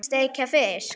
Steikja fisk?